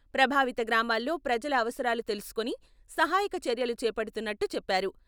ప్రభావిత గ్రామాల్లో ప్రజల అవసరాలు తెలుసుకుని సహాయక చర్యలు చేపడుతున్నట్టు చెప్పారు.